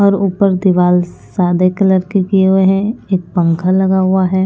और ऊपर दीवार सादे कलर के किए हुए हैं एक पंखा लगा हुआ है।